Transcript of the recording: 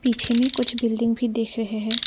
पीछे में कुछ बिल्डिंग भी दिख रहे है।